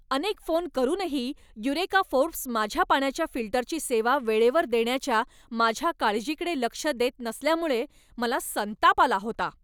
अनेक फोन करूनही Eureka Forbes माझ्या पाण्याच्या फिल्टरची सेवा वेळेवर देण्याच्या माझ्या काळजीकडे लक्ष देत नसल्यामुळे मला संताप आला होता.